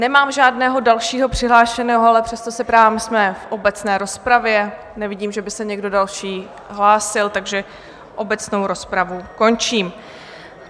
Nemám žádného dalšího přihlášeného, ale přesto se ptám, jsme v obecné rozpravě, nevidím, že by se někdo další hlásil, takže obecnou rozpravu končím.